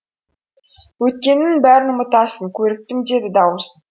өткеніңнің бәрін ұмытасың көріктім деді дауыс